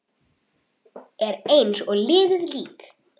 Er eins og liðið lík.